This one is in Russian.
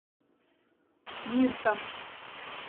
мирта